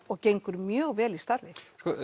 og gengur mjög vel í starfi